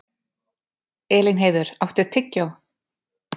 Elínheiður, áttu tyggjó?